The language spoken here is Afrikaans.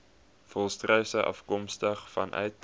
volstruise afkomstig vanuit